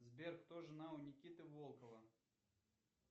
сбер кто жена у никиты волкова